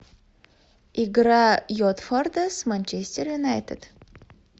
игра уотфорда с манчестер юнайтед